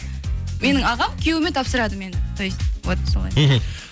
менің ағам күйеуіме тапсырады мені то есть вот солай мхм